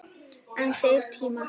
En þeir tímar!